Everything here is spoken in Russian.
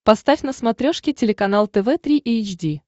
поставь на смотрешке телеканал тв три эйч ди